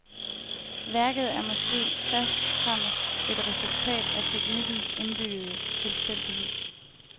Værket er måske først fremmest et resultat af teknikkens indbyggede tilfældighed.